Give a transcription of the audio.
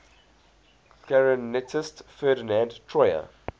clarinetist ferdinand troyer